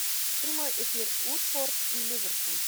прямой эфир уотфорд и ливерпуль